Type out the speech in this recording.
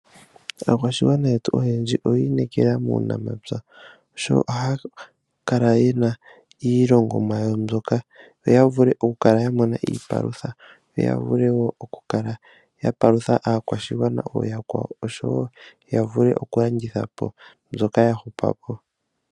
Aakwashigwana yetu oyendji oya inekela muunamapya, ohaya kala yena iilongomwa yawo mbyoka, opo ya vule oku kala ya mona iipalutha, yo ya vule woo oku kala ya palutha aakwashigwana oooyakwawo, oshowo ya vule oku landitha po mbyoka ya hupa po.